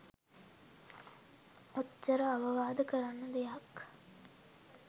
ඔච්චර අවවාද කරන්න දෙයක්